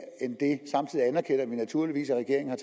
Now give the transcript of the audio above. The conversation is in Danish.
end vi naturligvis at regeringen